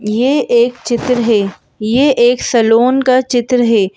यह एक चित्र है यह एक सलोन का चित्र है।